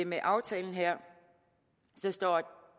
med aftalen her står